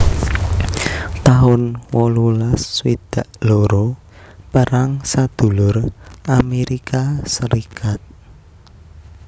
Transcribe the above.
taun wolulas swidak loro Perang Sadulur Amérika Sarékat